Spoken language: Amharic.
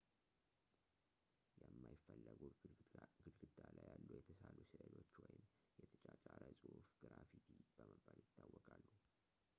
የማይፈለጉ ግድግዳ ላይ የተሳሉ ስእሎች ወይም የተጫጫረ ጽሁፍ ግራፊቲ በመባል ይታወቃሉ